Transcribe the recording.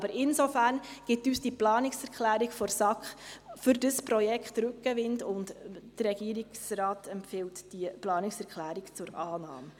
Insofern gibt uns die Planungserklärung der SAK für dieses Projekt Rückenwind, und der Regierungsrat empfiehlt diese Planungserklärung zur Annahme.